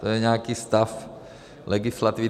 To je nějaký stav legislativy.